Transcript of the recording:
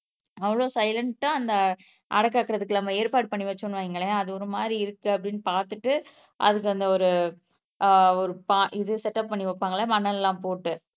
அவ்வளவு சைலண்டா அந்த அடை காக்குறதுக்கு நம்ம ஏற்ப்பாடு பண்ணி வச்சோம்னு வைங்களேன் அது ஒருமாதிரி இருக்குன்னு பாத்துட்டு அதுக்கு அந்த ஒரு அஹ் இது செட்டப் பண்ணி வைப்பாங்களே மணல் எல்லாம் போட்டு